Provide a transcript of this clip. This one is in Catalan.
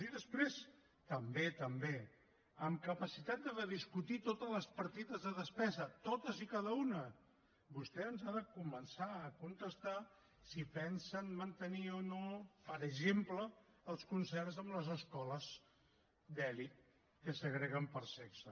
i després també també amb capacitat de discutir totes les partides de despesa totes i cada una vostè ens ha de començar a contestar si pensen mantenir o no per exemple els concerts amb les escoles d’elit que segreguen per sexe